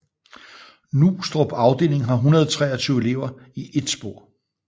Nustrup afdeling har 123 elever i ét spor